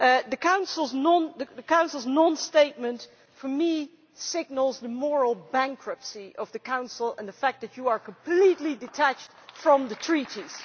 The Council's non statement for me signals the moral bankruptcy of the Council and the fact that you are completely detached from the Treaties.